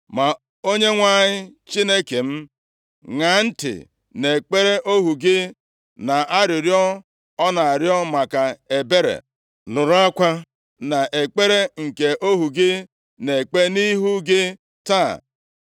Ma Onyenwe anyị Chineke m, ṅaa ntị nʼekpere ohu gị, na arịrịọ ọ na-arịọ maka ebere. Nụrụ akwa na ekpere nke ohu gị na-ekpe nʼihu gị taa.